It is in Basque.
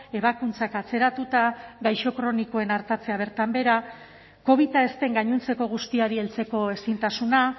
ebakuntzak atzeratuta gaixo kronikoen artatzea bertan behera covida ez den gainontzeko guztiari heltzeko ezintasuna